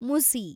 ಮುಸಿ